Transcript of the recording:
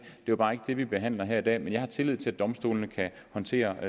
er bare ikke det vi behandler her i dag jeg har tillid til at domstolene kan håndtere